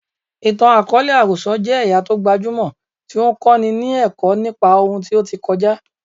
Ìtàn àkọọ́lẹ̀ àròsọ jẹ́ ẹ̀yà tó gbajúmọ̀ tí ó ń kọ́ni ní ẹ̀kọ́ nípa ohun tí ó ti kọjá.